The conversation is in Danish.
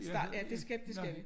Start ja det skal det skal vi